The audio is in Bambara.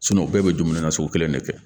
bɛɛ bɛ dumuni na sugu kelen de kɛ